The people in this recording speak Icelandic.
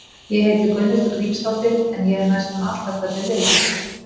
Ég heiti Gunnhildur Grímsdóttir en ég er næstum alltaf kölluð Lilla.